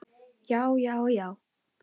Já, já, já!